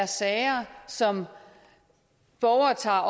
sager som borgere tager